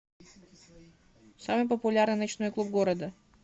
самый популярный ночной клуб города